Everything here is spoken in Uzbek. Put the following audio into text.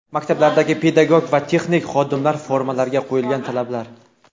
Maktablardagi pedagog va texnik xodimlar formalariga qo‘yilgan talablar.